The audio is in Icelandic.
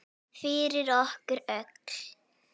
Fyrir okkur öll.